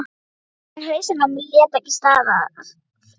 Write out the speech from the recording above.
En hausinn á mér lét ekki staðar numið.